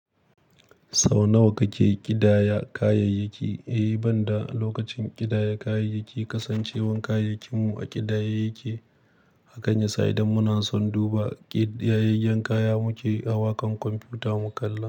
Sau nawa kake ƙidaya kayayyaki? Eh, ban da lokacin ƙidaya kayayyaki, kasancewar kayakinmu a ƙidaye yake. Hakan ya sa idan muna son duba ƙidayayyen kaya muke, awakan kwamfuta mu kalla.